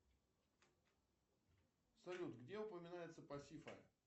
салют где упоминается пасифа